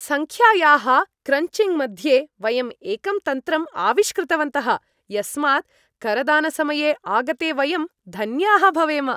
सङ्ख्यायाः क्रञ्चिङ्ग् मध्ये, वयं एकं तन्त्रं आविष्कृतवन्तः, यस्मात् करदानसमये आगते वयं धन्याः भवेम।